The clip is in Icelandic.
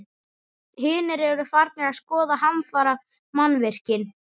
Hinir eru farnir að skoða hafnarmannvirkin.